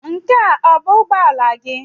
Nke a ọ bụ ụgbọ ala gị?